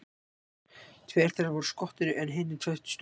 Tveir þeirra voru skotnir en hinir tveir stungnir.